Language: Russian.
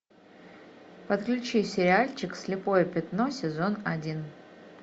подключи сериальчик слепое пятно сезон один